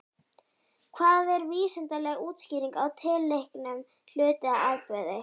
Hvað er vísindaleg útskýring á tilteknum hlut eða atburði?